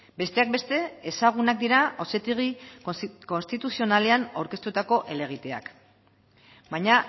besteak beste ezagunak dira auzitegi konstituzionalean aurkeztutako helegiteak baina